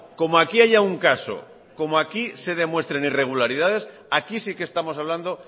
como aquí haya un caso como aquí se demuestren irregularidades aquí sí que estamos hablando